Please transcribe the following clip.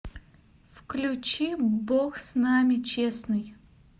включи бог с нами честный